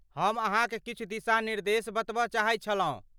हम अहाँक किछु दिशानिर्देश बतब चाहै छलहुँ।